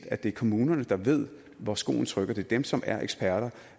at det er kommunerne der ved hvor skoen trykker det er dem som er eksperter